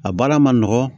A baara ma nɔgɔn